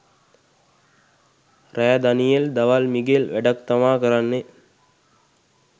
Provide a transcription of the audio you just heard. රෑ දනියෙල් දවල් මිගෙල් වැඩක් තමා කරන්නේ